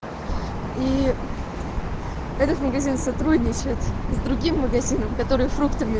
и этот магазин сотрудничать с другим магазинам которые